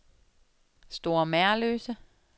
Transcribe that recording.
Store Merløse